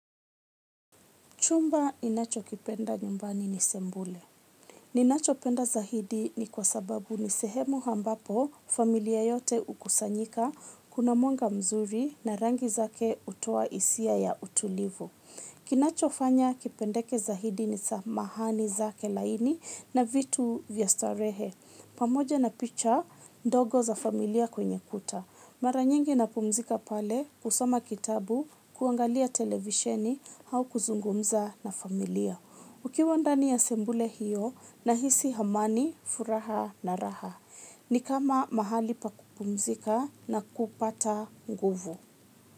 Chumba ni nacho kipenda nyumbani ni sembule. Ni nacho penda zahidi ni kwa sababu ni sehemu hambapo familia yote ukusanyika kuna mwanga mzuri na rangi zake utoa isia ya utulivu. Kinacho fanya kipendeke zahidi ni samahani zake laini na vitu vya starehe. Pamoja na picha, ndogo za familia kwenye kuta. Mara nyingi napumzika pale kusoma kitabu, kuangalia televisheni hau kuzungumza na familia. Ukiwa ndani ya sembule hiyo na hisi hamani, furaha na raha. Ni kama mahali pa kumzika na kupata nguvu.